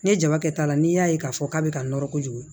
Ne jaba kɛ la n'i y'a ye k'a fɔ k'a bɛ ka nɔrɔ kojugu